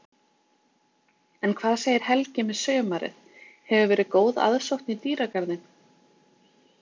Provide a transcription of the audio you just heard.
En hvað segir Helgi með sumarið, hefur verið góð aðsókn í dýragarðinn?